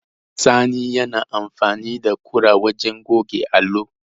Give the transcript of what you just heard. Sani yana amfani da kura wajen goge allo.